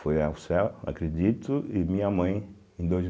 Foi ao céu, acredito, e minha mãe em dois